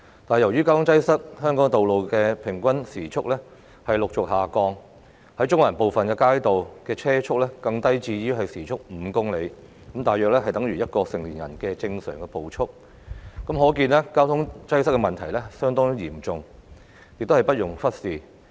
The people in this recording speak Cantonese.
但由於交通擠塞，香港道路的平均車速持續下降，在中環部分街道的車速更低至時速5公里，大約等於1名成年人的正常步速，可見交通擠塞的問題相當嚴重，不容忽視。